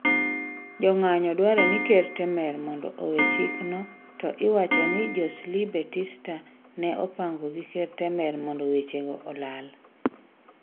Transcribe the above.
Jong'anyo dwaro ker Temer mondo owe chikno to iwacho ni Joesley Batista ne opango gi ker Temer mondo wechego olal.